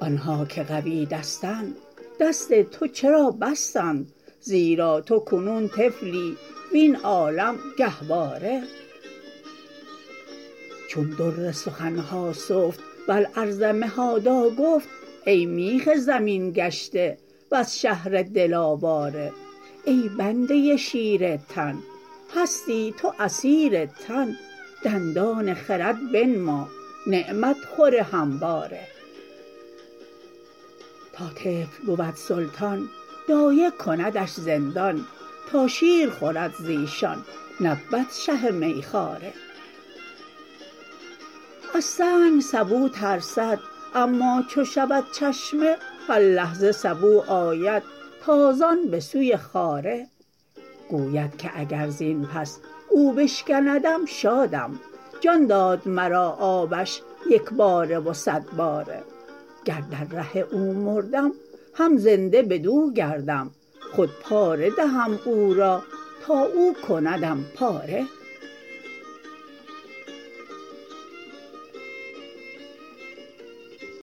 آن ها که قوی دستند دست تو چرا بستند زیرا تو کنون طفلی وین عالم گهواره چون در سخن ها سفت و الارض مهادا گفت ای میخ زمین گشته وز شهر دل آواره ای بنده شیر تن هستی تو اسیر تن دندان خرد بنما نعمت خور همواره تا طفل بود سلطان دایه کندش زندان تا شیر خورد ز ایشان نبود شه میخواره از سنگ سبو ترسد اما چو شود چشمه هر لحظه سبو آید تازان به سوی خاره گوید که اگر زین پس او بشکندم شادم جان داد مرا آبش یک باره و صد باره گر در ره او مردم هم زنده بدو گردم خود پاره دهم او را تا او کندم پاره